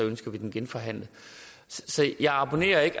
ønsker den genforhandlet så jeg abonnerer ikke